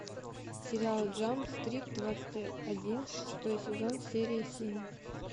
сериал джамп стрит двадцать один шестой сезон серия семь